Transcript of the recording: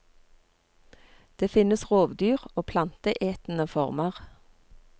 Det finnes rovdyr og planteetende former.